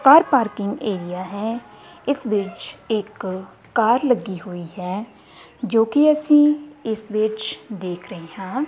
ਕਾਰ parking area ਹੈ ਇਸ ਵਿੱਚ ਇੱਕ ਕਾਰ ਲੱਗੀ ਹੋਈ ਹੈ ਜੋ ਕਿ ਅਸੀਂ ਇਸ ਵਿੱਚ ਦੇਖ ਰਹੇ ਹਾਂ।